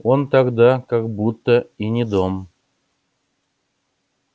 он тогда как будто и не дом